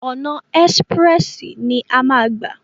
ọ̀nà ẹ́sprẹ̀sì ni a máa gbà.